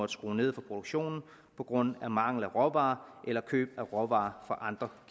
skrue ned for produktionen på grund af mangel på råvarer eller køb af råvarer fra andre